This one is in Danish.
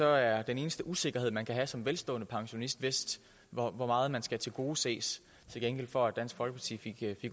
er den eneste usikkerhed man kan have som velstående pensionist vist hvor meget man skal tilgodeses til gengæld for at dansk folkeparti fik